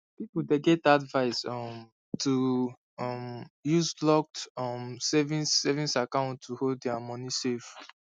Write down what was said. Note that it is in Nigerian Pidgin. people dey get advice um to um use locked um savings savings account to hold their moni safe